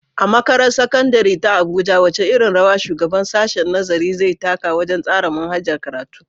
A Makarantar Sakandare ta Abuja, wace irin rawa shugaban sashen nazari zai taka wajen tsara manhajar karatu.